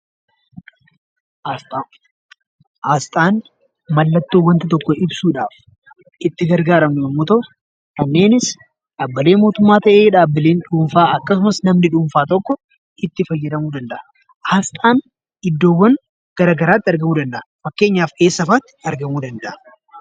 Asxaan mallattoo wanta tokko ibsuudhaaf itti gargaaramnu yemmuu ta'u kanneenis dhaabbilee mootummaas ta'ee miti mootummaa, dhaabbilee dhuunfaa yookiin namni dhuunfaa tokko itti fayyadamuu danda'a. Asxaan iddoowwan garagaraatti argamuu danda'a.